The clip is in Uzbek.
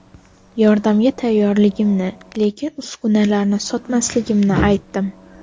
Yordamga tayyorligimni, lekin uskunalarni sotmasligimni aytdim.